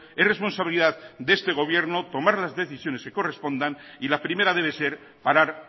es responsabilidad de este gobierno tomar las decisiones que correspondan y la primera debe ser parar